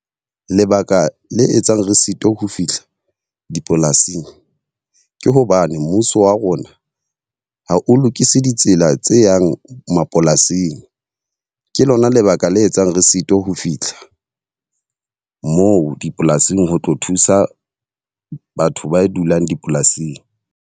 Lebaka le etsang re sitwa ho fihla dipolasing ke hobane mmuso wa rona ha o lokise ditsela tse yang mapolasing. Ke lona lebaka le etsang re sitwa ho fitlha moo dipolasing ho tlo thusa batho ba dulang dipolasing.